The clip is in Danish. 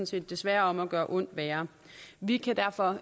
set desværre om at gøre ondt værre vi kan derfor